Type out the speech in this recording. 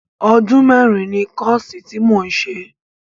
Ọdún mẹ́rin ni kọ́ọ̀sì tí mò ń ṣe